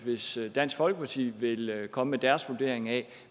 hvis dansk folkeparti ville komme med deres vurdering af